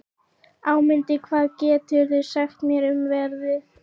Ámundi, hvað geturðu sagt mér um veðrið?